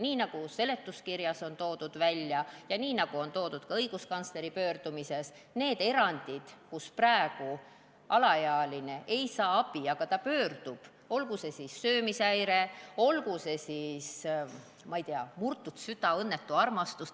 Nii nagu on välja toodud seletuskirjas ja nii nagu on öeldud ka õiguskantsleri pöördumises, tuleb tähelepanu suunata nendele eranditele, mille korral praegu alaealine ei saa abi, kuigi ta pöördub psühhiaatri poole – olgu põhjuseks söömishäire, olgu selleks siis, ma ei tea, murtud süda, õnnetu armastus.